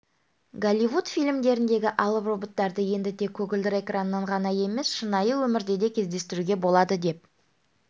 голливуд фильмдеріндегі алып роботтарды енді тек көгілдір экраннан ғана емес шынайы өмірде де кездестіруге болады деп